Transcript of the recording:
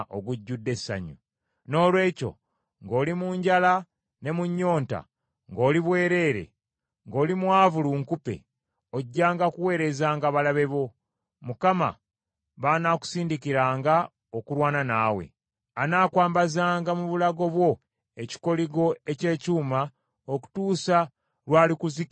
Noolwekyo ng’oli mu njala ne mu nnyonta, ng’oli bwereere, ng’oli mwavu lunkupe, ojjanga kuweerezanga balabe bo, Mukama b’anaakusindikiranga okulwana naawe! Anaakwambazanga mu bulago bwo ekikoligo eky’ekyuma okutuusa lw’alikuzikiririza ddala.